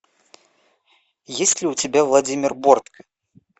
есть ли у тебя владимир бортко